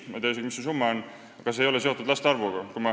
Ma ei tea isegi, mis see summa on, aga see ei ole seotud laste arvuga.